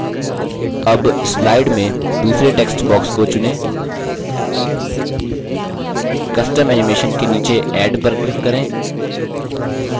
add slide में दूसरे text box को चुनें custom animation के नीचे add पर click करें